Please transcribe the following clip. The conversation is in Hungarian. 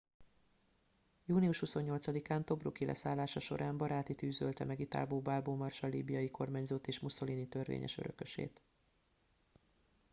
június 28 án tobruk i leszállása során baráti tűz ölte meg italbo balbo marsall líbiai kormányzót és mussolini törvényes örökösét